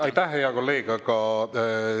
Aitäh, hea kolleeg!